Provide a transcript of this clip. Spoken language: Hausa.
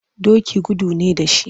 Doki gudu ne da shi.